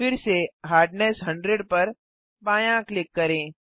फिर से हार्डनेस 100 पर बायाँ क्लिक करें